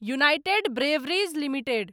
United Breweries limited